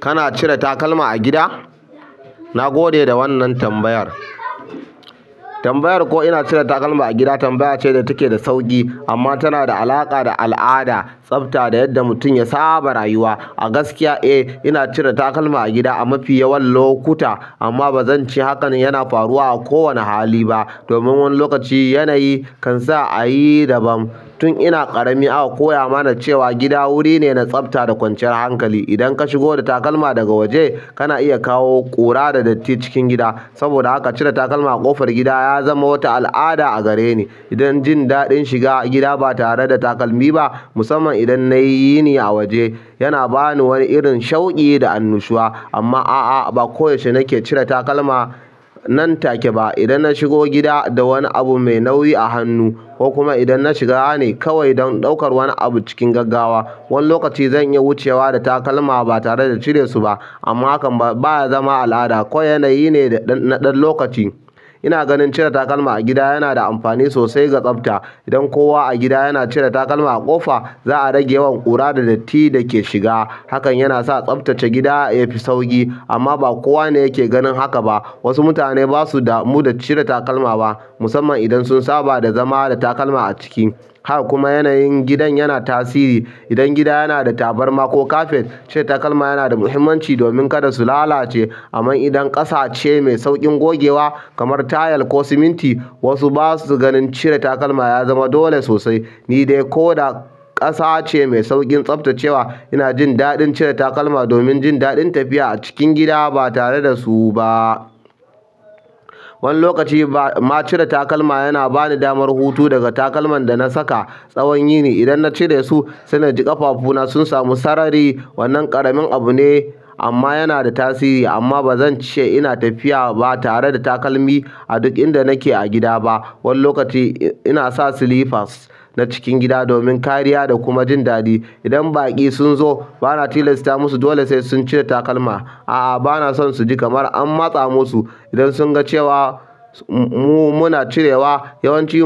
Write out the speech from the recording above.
Kana cire takalma a gida? Na gode da wannan tambayar. Tambayar ko ina cire takalma a gida tambaya ce da take da sauƙi amma tana da alaƙa da al'ada, tsafta da yadda mutum ya saba rayuwa. A gaskiya, eh, ina cire takalma a gida a mafi yawan lokuta amma ba zan ce hakan yana faruwa a kowane hali ba. Domin wani lokaci yanayi kan sa a yi daban. Tun ina ƙarami aka koya mana cewa gida wuri ne na tsafta da kwanciyar hankali. Idan ka shigo da takalma daga waje, kana iya kawo ƙura da datti cikin gida. Saboda haka cire takalma a ƙofar gida ya zamo wata al'ada a gare ni. Idan jin daɗin shiga gida ba tare da takalmi ba, musamman idan na yi yini a waje, yana ba ni wani irin shauƙi da annushuwa. Amma a'a, ba koyaushe nake cire takalma nan take ba. Idan na shigo gida da wani abu mai nauyi a hannu ko kuma idan na shiga ne kawai don ɗaukar wani abu cikin gaggawa, wani lokaci zan iya wucewa da takalma ba tare da cire su ba. Amma hakan ba ya zama al'ada, kawai yanayi ne na ɗan lokaci. Ina ganin cire takalma a gida yana da amfani sosai ga tsafta. Idan kowa a gida yana cire takalma a ƙofa, za a rage yawan ƙura da datti da ke shiga. Hakan yana sa tsaftace gida yafi sauƙi amma ba kowa ne yake ganin haka ba. Wasu mutane basu damu da cire takalma ba musamman idan sun saba da zama da takalma a ciki. Haka kuma yanayin gidan yana tasiri. Idan gida yana da tabarma ko kafet, cire takalma yana da muhimmanci domin kada su lalace. Amman idan ƙasa ce mai sauƙin gogewa kamar tayal ko siminti, wasu ba su ganin cire takalma ya zama dole sosai. Ni dai, ko da ƙasa ce mai sauƙin tsaftacewa, ina jin daɗin cire takalma domin jin daɗin tafiya a cikin gida ba tare da su ba. Wani lokaci ma cire takalma yana ba ni damar hutu daga takalman da na saka tsawon yini. Idan na cire su, sai na ji ƙafafuna sun samu sarari. Wannan ƙaramin abu ne amma yana da tasiri. Amma ba zan ce ina tafiya ba tare da takalmi a duk inda nake a gida ba. Wani lokaci ina sa silifas na cikin gida domin kariya da kuma jin daɗi. Idan baƙi sunzo bana tilasta musu dole sai sun cire takalma. A'a, ba na son su ji kamar an matsa musu. Idan sun ga cewa mu muna cirewa, yawanci